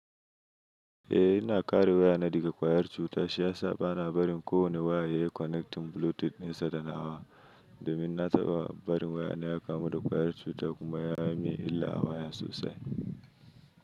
Eh ina kare wayana daga kwayar cuta shi yasa bana barin kowane waya yayi connecting Bluetooth dinsa da nawa domin na taɓa barin wayana ya kamu da wayar cuta kuma ya yi min illa a waya sosai.